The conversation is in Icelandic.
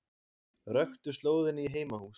Röktu slóðina í heimahús